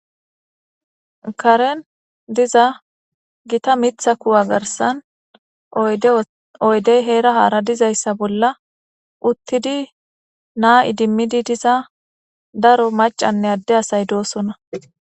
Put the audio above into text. Karen diza gita miththa kuwa garsan oyde heera haara dizaysa bolla uttidi na'a idimmidi diza daro maccane adde asay doosona.